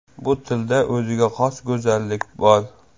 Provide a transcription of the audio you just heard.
Bu tilda o‘ziga xos go‘zallik bor.